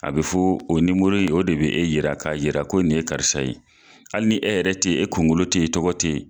A bɛ fɔ o nimoro in o de bɛ e yira ka jira ko nin ye karisa ye hali ni e yɛrɛ tɛ ye e kunkolo tɛ ye e tɔgɔ tɛ ye